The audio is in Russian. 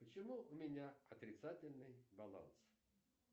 почему у меня отрицательный баланс